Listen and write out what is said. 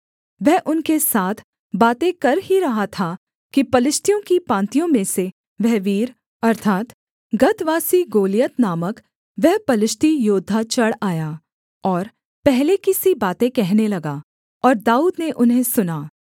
वह उनके साथ बातें कर ही रहा था कि पलिश्तियों की पाँतियों में से वह वीर अर्थात् गतवासी गोलियत नामक वह पलिश्ती योद्धा चढ़ आया और पहले की सी बातें कहने लगा और दाऊद ने उन्हें सुना